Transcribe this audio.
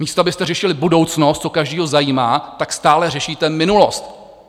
Místo abyste řešili budoucnost, co každého zajímá, tak stále řešíte minulost.